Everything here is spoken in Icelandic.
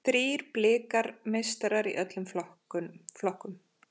Þrír Blikar meistarar í öllum flokkum